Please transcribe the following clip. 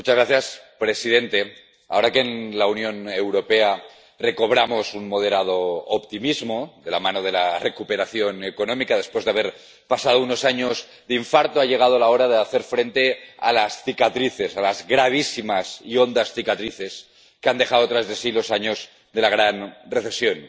Señor presidente. Ahora que en la Unión Europea recobramos un moderado optimismo de la mano de la recuperación económica, después de haber pasado unos años de infarto, ha llegado la hora de hacer frente a las cicatrices, a las gravísimas y hondas cicatrices que han dejado tras de sí los años de la gran recesión.